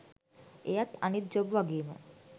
එයත් අනිත් ජොබ් වගේම